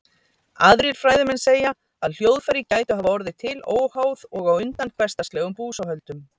Aðrir fræðimenn segja að hljóðfæri gætu hafa orðið til óháð og á undan hversdagslegum búsáhöldum.